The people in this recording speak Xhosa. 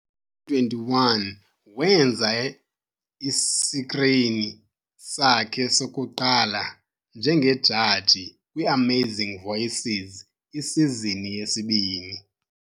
21, wenza isikrini sakhe sokuqala njengejaji kwi-Amazing Voices isizini yesibini.